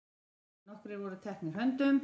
Nokkrir voru teknir höndum.